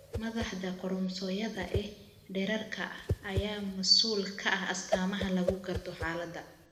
Maaddada koromosoomyada ee dheeraadka ah ayaa mas'uul ka ah astaamaha lagu garto xaaladda.